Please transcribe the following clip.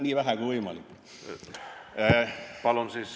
Nii vähe kui võimalik.